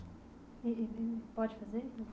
E e pode fazer?